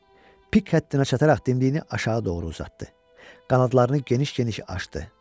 Pik həddinə çataraq dimdiyini aşağı doğru uzatdı, qanadlarını geniş-geniş açdı.